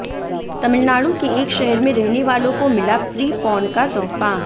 तमिलनाडु के एक शहर में रहने वालों को मिला फ्री पॉर्न का तोहफा